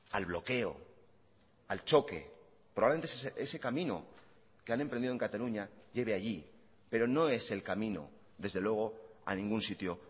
al bloqueo al choque probablemente ese camino que han emprendido en cataluña lleve allí pero no es el camino desde luego a ningún sitio